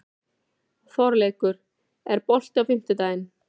Þorleikur, er bolti á fimmtudaginn?